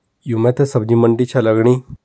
यो मैथे सब्जी-मंडी छै लगणी।